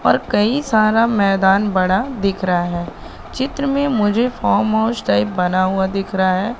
और कई सारा मैदान बड़ा दिख रहा है चित्र में मुझे फार्म हाउस टाइप बना हुआ दिख रहा है।